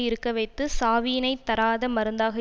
இருக்கவைத்துச் சாவியினைத் தராத மருந்தாக